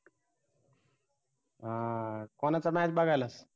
हां कोनाचं match बघायला